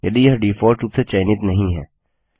यदि यह डिफॉल्ट रूप से चयनित नहीं है